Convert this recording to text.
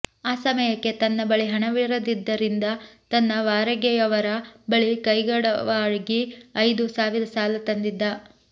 ಆ ಸಮಯಕ್ಕೆ ತನ್ನ ಬಳಿ ಹಣವಿರದಿದ್ದರಿಂದ ತನ್ನ ವಾರಗೆಯವರ ಬಳಿ ಕೈಗಡವಾಗಿ ಐದು ಸಾವಿರ ಸಾಲ ತಂದಿದ್ದ